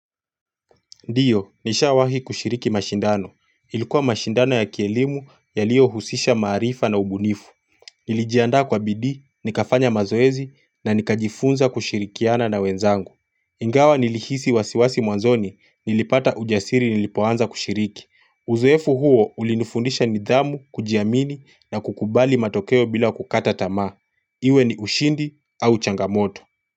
Ndiyo, nishawahi kushiriki mashindano. Ilikuwa mashindano ya kielimu yaliyo husisha maarifa na ubunifu. Nilijiandaa kwa bidii, nikafanya mazoezi na nikajifunza kushirikiana na wenzangu. Ingawa nilihisi wasiwasi mwanzoni, nilipata ujasiri nilipoanza kushiriki. Uzoefu huo ulinifundisha nidhamu, kujiamini na kukubali matokeo bila kukata tamaa. Iwe ni ushindi au changamoto.